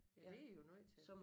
Ja det er I jo nødt til